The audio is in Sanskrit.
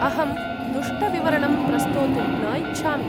अहं दुष्टविवरणं प्रस्तोतुं न इच्छामि।